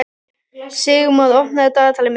Sigurmon, opnaðu dagatalið mitt.